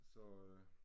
Så øh